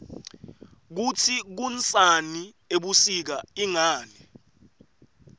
kutsi kunsani ebusika ingani